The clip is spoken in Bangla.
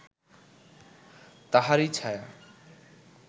তাহারই ছায়া